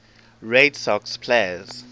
red sox players